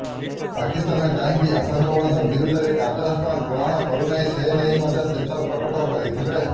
ପାକିସ୍ତାନ କାହିଁକି ଆତଙ୍କବାଦ ବିରୋଧରେ କାର୍ଯ୍ୟାନୁଷ୍ଠାନ ଗ୍ରହଣ କରୁନାହିଁ ସେନେଇ ମଧ୍ୟ ଚିନ୍ତା ପ୍ରକଟ କରିଥିଲେ